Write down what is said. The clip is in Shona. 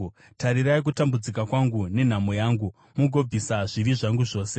Tarirai kutambudzika kwangu nenhamo yangu, mugobvisa zvivi zvangu zvose.